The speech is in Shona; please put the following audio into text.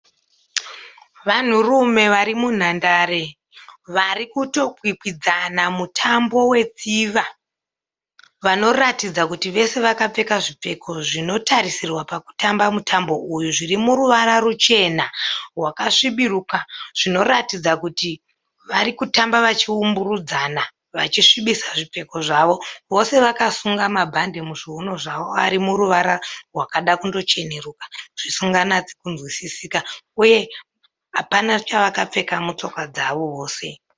Vanhurume varimunhandare varikutokwikwidzana mutambo wetsiva. Vanoratidza kuti vese vakapfeka zvipfeko zvinotarisirwa pakutamba mutambo uyu. Zvirimuruvara ruchena rwakasvibiruka zvinoratidza kuti varikutamba vachiumburudzana vachizvibisa zvipfeko zvavo. Vose vakasunga mabhande ari muruvara rwakada kundocheneruka zvisinga nyatsikunzwisisika uye hapana chavakapfeka mutsoka dzavo vose.